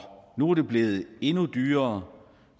nu er det blevet endnu dyrere